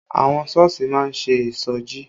Àwọn Sọ́ọ̀sì má ń ṣe ìṣọjí